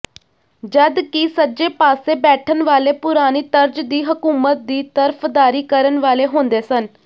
ਜਦਕਿ ਸੱਜੇ ਪਾਸੇ ਬੈਠਣ ਵਾਲੇ ਪੁਰਾਣੀ ਤਰਜ਼ ਦੀ ਹਕੂਮਤ ਦੀ ਤਰਫਦਾਰੀ ਕਰਨ ਵਾਲੇ ਹੁੰਦੇ ਸਨ